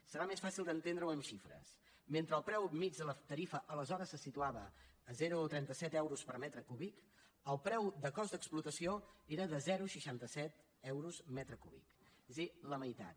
serà més fàcil d’entendre ho amb xifres mentre el preu mitjà de la tarifa aleshores se situava a zero coma trenta set euros per metre cúbic el preu de cost d’explotació era de zero coma seixanta set euros metre cúbic és a dir la meitat